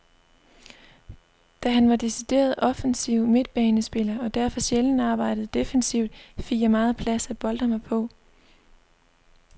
Da han var decideret offensiv midtbanespiller, og derfor sjældent arbejdede defensivt, fik jeg meget plads at boltre mig på.